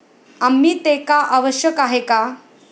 आम्ही ते का आवश्यक आहे का?